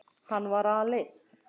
Hann var aleinn.